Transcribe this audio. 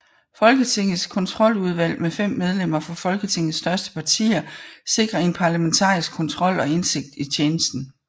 Folketingets kontroludvalg med 5 medlemmer fra Folketingets største partier sikrer en parlamentarisk kontrol og indsigt i tjenesten